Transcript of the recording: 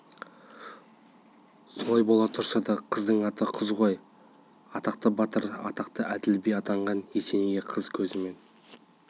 солай бола тұрса да қыздың аты қыз ғой атақты батыр атақты әділ би атанған есенейге қыз көзімен